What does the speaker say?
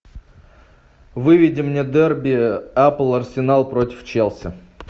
выведи мне дерби апл арсенал против челси